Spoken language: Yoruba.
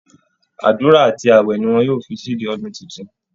Àdúra àti ààwẹ̀ ni wọn ó fi ṣíde ọdún tuntun